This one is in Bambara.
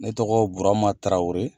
Ne tɔgɔ ye Burama Tarawele.